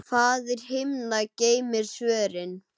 Faðir himna geymir svörin.